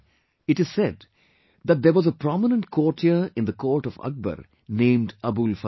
It is said that there was a prominent courtier in the court of Akbar named AbulFazl